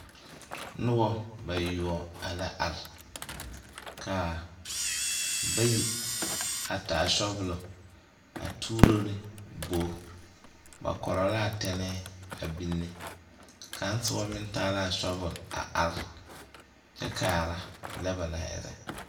Noba bayoɔ la are ka bayi a taa sɔbolɔ a tuuro ne bogi ba Pɔgɔ laa tɛnɛɛ a biŋne kaŋ soba meŋ taa la a sɔbol a are kyɛ kaara lɛ ba naŋ erɛ.